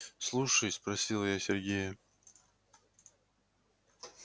слушай спросила я сергея